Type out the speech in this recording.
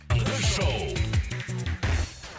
таңғы шоу